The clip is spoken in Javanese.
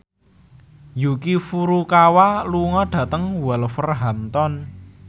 Yuki Furukawa lunga dhateng Wolverhampton